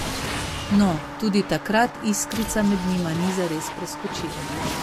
No, tudi takrat iskrica med njima ni zares preskočila.